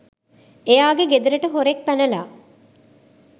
එයාගෙ ගෙදරට හොරෙක් පැනලා